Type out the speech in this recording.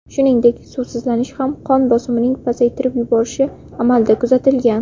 Shuningdek, suvsizlanish ham qon bosimining pasaytirib yuborishi amalda kuzatilgan.